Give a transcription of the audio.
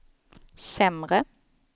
sämre